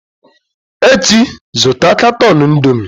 Echi, zụta katọn Indomie!